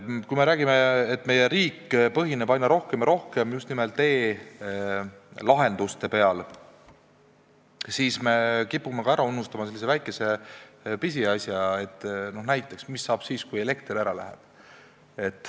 Kui me räägime, et meie riik toimib aina rohkem ja rohkem just nimelt tänu e-lahendustele, siis kipume ära unustama sellise väikese pisiasja, et mis saab näiteks siis, kui elekter ära läheb.